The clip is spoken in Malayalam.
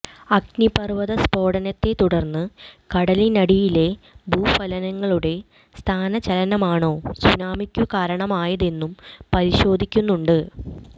അഗ്നിപര്വത സ്ഫോടനത്തെത്തുടര്ന്ന് കടലിന്നടിയിലെ ഭൂഫലകങ്ങളുടെ സ്ഥാനചലനമാണോ സൂനാമിക്കു കാരണമായതെന്നും പരിശോധിക്കുന്നുണ്ട്